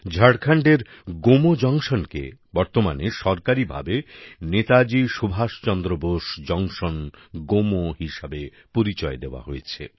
ঝাড়খণ্ডের গোমো জংশনকে বর্তমানে সরকারি ভাবে নেতাজি সুভাষচন্দ্র বোস জংশন গোমো হিসেবে পরিচয় দেওয়া হয়েছে